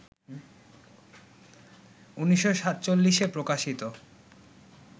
১৯৪৭-এ প্রকাশিত